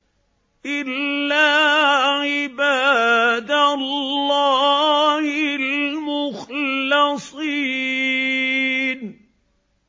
إِلَّا عِبَادَ اللَّهِ الْمُخْلَصِينَ